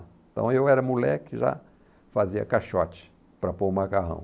Então, eu era moleque e já fazia caixote para pôr o macarrão.